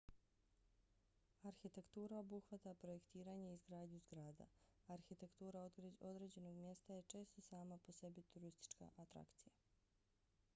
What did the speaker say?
arhitektura obuhvata projektiranje i izgradnju zgrada. arhitektura određenog mjesta je često sama po sebi turistička atrakcija